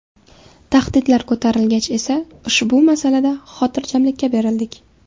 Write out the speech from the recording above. Tahdidlar ko‘tarilgach esa ushbu masalada xotirjamlikka berildik.